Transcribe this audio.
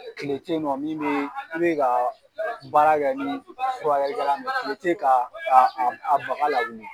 Kile tɛ ye nɔ min bɛ i bɛ ka baara kɛ ni furukɛli kɛlan min ye kile tɛ ye ka a a a baga lawuli.